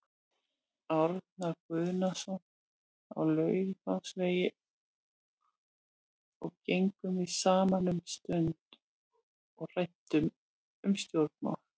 Árna Guðnason á Laufásvegi og gengum við saman um stund og ræddum um stjórnmál.